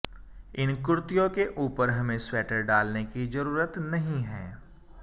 इन कुतिर्यों के ऊपर हमें स्वेटर डालने की जरूरत नहीं है